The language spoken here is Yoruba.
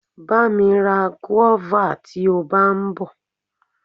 Bá mi ra guava tí o bá ń bọ.